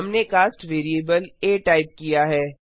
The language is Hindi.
हमने कास्ट वैरिएबल आ टाइप किया है